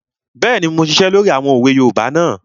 Bẹ́ẹ̀ni, mo n ṣiṣẹ́ lórí àwọn òwe yoòbá náà